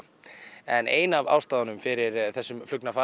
en ein af ástæðunum fyrir þessum